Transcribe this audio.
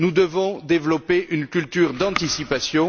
Nous devons développer une culture d'anticipation.